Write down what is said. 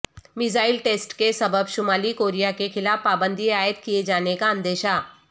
missile test کے سبب شمالی کوریا کے خلاف پابندی عائد کئے جانے کا اندیشہ